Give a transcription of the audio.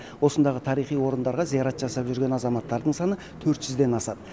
осындағы тарихи орындарға зиярат жасап жүрген азаматтардың саны ден асады